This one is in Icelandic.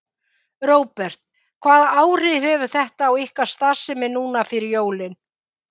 Róbert: Hvaða áhrif hefur þetta á ykkar starfsemi núna fyrir jólin?